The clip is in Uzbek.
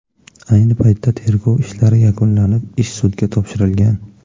Ayni paytda tergov ishlari yakunlanib, ish sudga topshirilgan.